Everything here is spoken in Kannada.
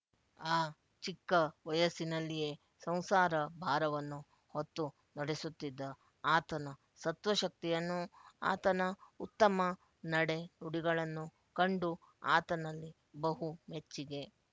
ಆ ಚಿಕ್ಕ ವಯಸ್ಸಿನಲ್ಲಿಯೇ ಸಂಸಾರ ಭಾರವನ್ನು ಹೊತ್ತು ನಡೆಸುತ್ತಿದ್ದ ಆತನ ಸತ್ವಶಕ್ತಿಯನ್ನು ಆತನ ಉತ್ತಮ ನಡೆನುಡಿಗಳನ್ನು ಕಂಡು ಆತನಲ್ಲಿ ಬಹು ಮೆಚ್ಚಿಗೆ